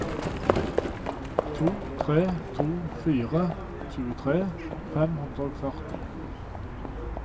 to tre to fire tjuetre fem hundre og førti